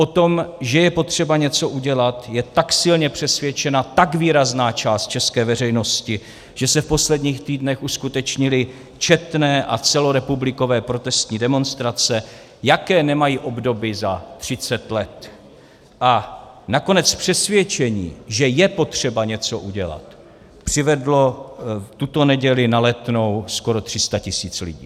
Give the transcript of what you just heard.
O tom, že je potřeba něco udělat, je tak silně přesvědčena tak výrazná část české veřejnosti, že se v posledních týdnech uskutečnily četné a celorepublikové protestní demonstrace, jaké nemají obdoby za 30 let, a nakonec přesvědčení, že je potřeba něco udělat, přivedlo tuto neděli na Letnou skoro 300 tisíc lidí.